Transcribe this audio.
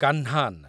କାହ୍ନାନ୍